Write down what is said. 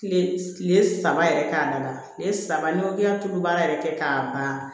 Tile kile saba yɛrɛ k'a laban tile saba n'i ko k'i ka tulu baara yɛrɛ kɛ k'a ban